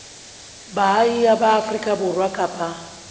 baahi ba afrika borwa kapa